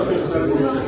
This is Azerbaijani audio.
İşıq göstərdi.